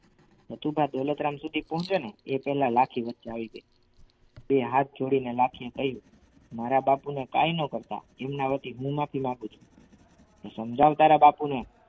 નથુભા દોલતરામ સુધી પહોંચે ને એ પહેલા લાઠી વચ્ચે આવી ગઈ બે હાથ જોડીને લખી એ કહ્યું મારા બાપુને કાંઈ ન કરતા એમના વતી હું માફી માગું છું તો સમજાવ તારા બાપુને.